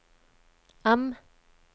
M